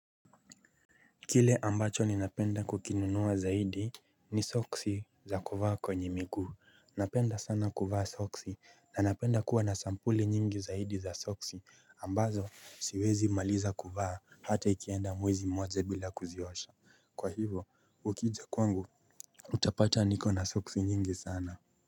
Kile ambacho ni napenda kukinunua zaidi ni soksi za kuvaa kwenye miguu, napenda sana kuvaa soksi na napenda kuwa na sampuli nyingi zaidi za soksi ambazo siwezi maliza kuvaa hata ikienda mwezi mmoja bila kuziosha, kwa hivo, ukijaa kwangu utapata niko na soksi nyingi sana.